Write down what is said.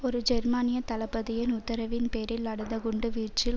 ஒரு ஜெர்மனிய தளபதியின் உத்தரவின் பேரில் நடந்த குண்டு வீச்சில்